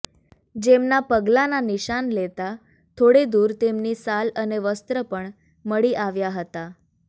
જેમના પગલાંના નિશાન લેતાં થોડે દૂર તેમની સાલ અને વસ્ત્ર પણ મળી આવ્યા હતા